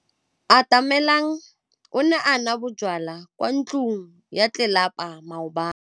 Atamelang o ne a nwa bojwala kwa ntlong ya tlelapa maobane.